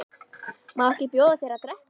Má ekki bjóða þér að drekka?